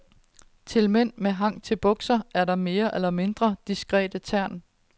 Til mænd med hang til bukser er der mere eller mindre diskrete tern.